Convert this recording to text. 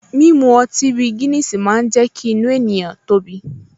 Mímu ọtí bí Guiness máa ń jẹ́ kí inú ènìyàn tóbi